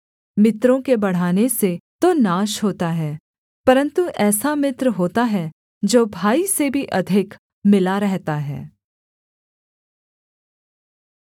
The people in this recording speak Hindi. मित्रों के बढ़ाने से तो नाश होता है परन्तु ऐसा मित्र होता है जो भाई से भी अधिक मिला रहता है